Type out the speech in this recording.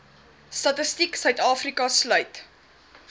statistiek sa sluit